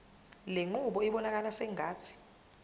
lenqubo ibonakala sengathi